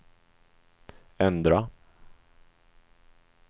ändra